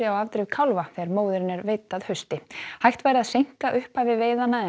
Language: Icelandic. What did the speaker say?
á afdrif kálfa þegar móðirin er veidd að hausti hægt væri að seinka upphafi veiðanna en